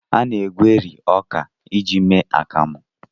A na-egweri ọka iji mee akamụ.